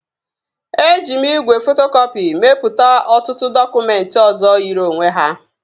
Eji m igwe fotokọpị mepụta ọtụtụ dọkụmentị ọzọ yiri onwe ha